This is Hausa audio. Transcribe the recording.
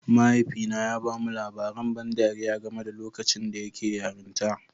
Mahaifina ya ba mu labaran ban ɗariya game da lokacin da yake yarinta